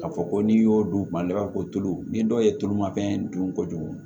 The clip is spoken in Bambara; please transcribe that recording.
Ka fɔ ko n'i y'o d'u ma i b'a fɔ ko tulu ni dɔw ye tulumafɛn dun kojugu